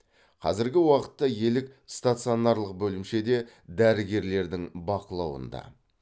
қазіргі уақытта елік стационарлық бөлімшеде дәрігерлердің бақылауында